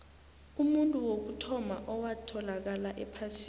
umuntu wokuthoma owatholakala ephasini